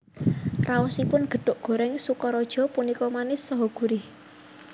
Raosipun gethuk gorèng Sokaraja punika manis saha gurih